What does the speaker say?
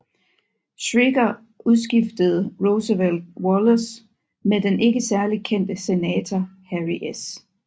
Schricker udskiftede Roosevelt Wallace med den ikke særlig kendte senator Harry S